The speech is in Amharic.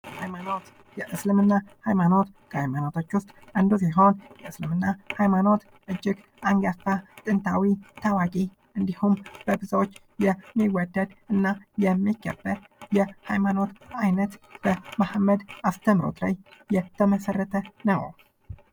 ሀይማኖት የእስልምና ሃይማኖት ከሃይማኖቶች ውስጥ አንዱ ሲሆን ፤የእስልምና ሃይማኖት እጅግ አንጋፋ ፣ጥንታዊ፣ ታዋቂ እንዲሁም በብዙዎች የሚወደድ እና የሚከበር የሃይማኖት አይነት በመሐመድ አስተምህሮት ላይ የተመሠረተ ነው።